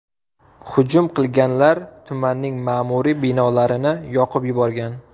Hujum qilganlar tumanning ma’muriy binolarini yoqib yuborgan.